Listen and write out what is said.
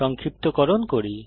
সংক্ষিপ্তকরণ করি